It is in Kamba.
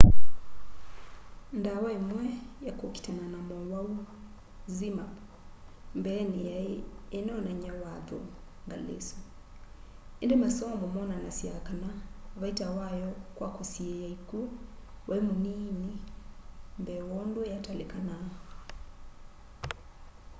ndawa imwe ya kukitana na mowau zmapp mbeeni yai inoonany'a watho ngali isu indi masomo moonanasya kana vaita wayo kwa kusiiia ikw'u wai munii mbee wondu yatalikanaa